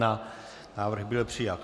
Návrh byl přijat.